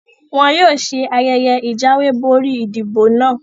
Wọn yóò ṣe ayẹyẹ ìjáwé borí ìdìbò náà